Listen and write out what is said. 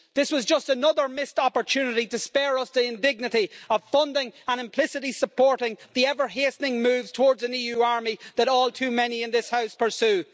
This was just another missed opportunity to spare us the indignity of funding and implicitly supporting the ever hastening moves towards an EU army that all too many in this House pursue.